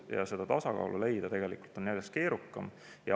Ja seda tasakaalu leida on järjest keerukam.